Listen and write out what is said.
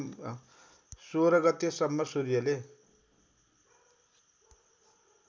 १६ गतेसम्म सूर्यले